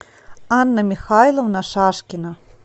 анна михайловна шашкина